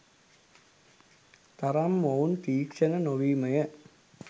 තරම් මොවුන් තීක්ෂණ නොවීමය.